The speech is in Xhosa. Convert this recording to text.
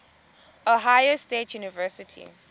ohio state university